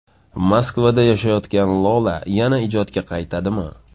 Moskvada yashayotgan Lola yana ijodga qaytadimi?